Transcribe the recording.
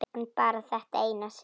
En bara þetta eina sinn.